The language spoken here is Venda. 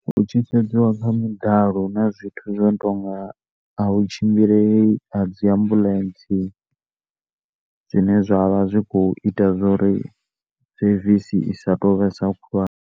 Hu tshi sedziwa kha midalo huna zwithu zwinonga a hu tshimbilei dzi ambulence dzine dzavha dzi kho ita uri sevisi isa tovhesa khulwane.